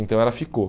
Então ela ficou.